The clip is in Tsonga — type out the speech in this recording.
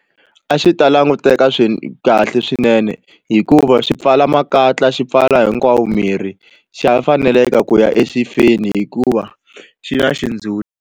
A xi ta languteka kahle swinene hikuva swi pfala makatla xi pfala hinkwawo mirhi xa faneleke ku ya exifeni hikuva xi na xindzhuti.